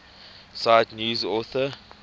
cite news author